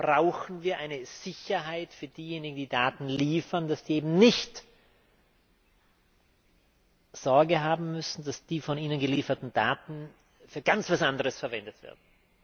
brauchen wir eine Sicherheit für diejenigen, die Daten liefern, dass sie eben nicht Sorge haben müssen, dass die von ihnen gelieferten Daten für etwas ganz anderes verwendet werden.